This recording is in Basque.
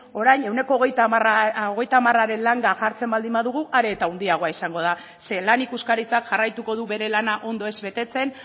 orain ehuneko hogeita hamararen langa jartzen baldin badugu are eta handiagoa izango da ze lan ikuskaritzak jarraituko du bere lana ondo ez betetzen